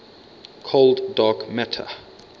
cold dark matter